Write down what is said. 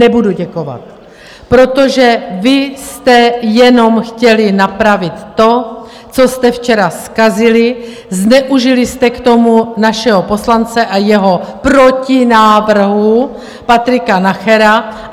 Nebudu děkovat, protože vy jste jenom chtěli napravit to, co jste včera zkazili, zneužili jste k tomu našeho poslance a jeho protinávrhu, Patrika Nachera.